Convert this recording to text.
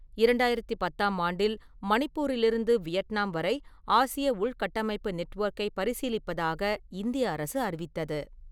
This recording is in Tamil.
இரண்டாயிரத்து பத்தாம் ஆண்டில், மணிப்பூரிலிருந்து வியட்நாம் வரை ஆசிய உள்கட்டமைப்பு நெட்வொர்க்கைப் பரிசீலிப்பதாக இந்திய அரசு அறிவித்தது.